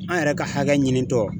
An yɛrɛ ka hakɛ ɲinitɔ.